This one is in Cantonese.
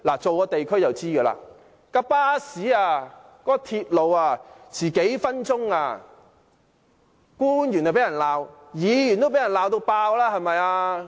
做過地區工作的人就會知道，巴士或鐵路遲到幾分鐘，官員便會被罵，連議員都會被人痛罵。